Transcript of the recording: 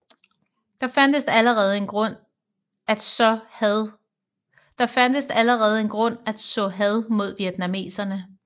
Der fandtes allerede en grund at så had mod vietnameserne